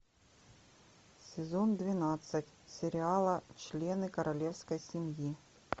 сезон двенадцать сериала члены королевской семьи